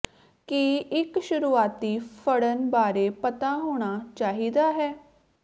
ਕੀ ਇੱਕ ਸ਼ੁਰੂਆਤੀ ਫੜਨ ਬਾਰੇ ਪਤਾ ਹੋਣਾ ਚਾਹੀਦਾ ਹੈ